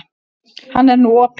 Hann er nú opinn.